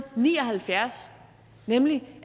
ni og halvfjerds nemlig